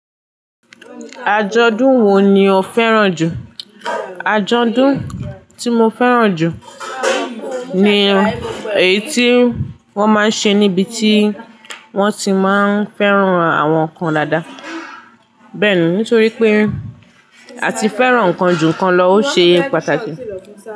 Ajọdun wo ni o fẹran ju? Ajọdun ti mo fẹran ju ni eyi ti won maa n se nibi ti won ti ma n fẹran awọn nnkan dada. Bẹ́ẹ̀ni, nitori pe a ti fẹran nnkan ju kan lọ o ṣe pàtàkì.